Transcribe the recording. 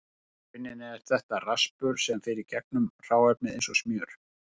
Í rauninni er þetta raspur sem fer í gegnum hráefnið eins og smjör.